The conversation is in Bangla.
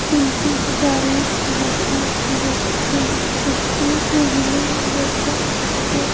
তিনটি গাড়ি দেখা যাচ্ছে একটি মহিলা দেখা যা--